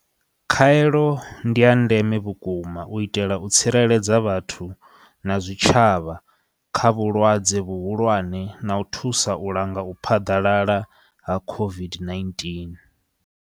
Khaelo ndiya ndeme vhukuma u itela u tsireledza vhathu na zwitshavha kha vhulwadze vhuhulwane na u thusa u langa u phaḓalala ha COVID-19.